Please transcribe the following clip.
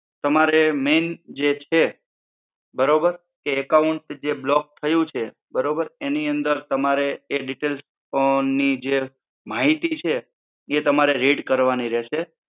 તમારે main જે છે બરોબર? કે account જે block થયું છે બરોબર. એની અંદર તમારે એ details પણ ની જે માહિતી છે એ તમારે read કરવાની રહેશે.